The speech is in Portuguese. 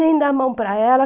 Nem dar a mão para ela.